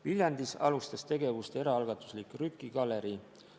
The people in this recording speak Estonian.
Viljandis alustas tegevust eraalgatuslik Rüki galerii.